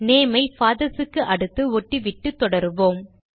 name ஐ fathers க்கு அடுத்து ஒட்டிவிட்டு தொடருவோம்